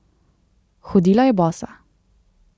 Hodila je bosa.